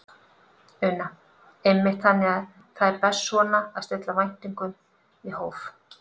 Una: Einmitt, þannig að það er best svona að stilla væntingunum í hóf?